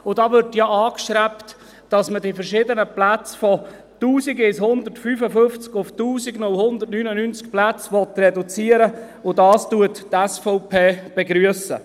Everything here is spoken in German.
Da wird ja angestrebt, die verschiedenen Plätze von 1155 auf 1099 Plätze zu reduzieren, und dies begrüsst die SVP.